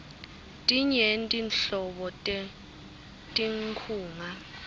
tinyenti nhlobo tetinkhunga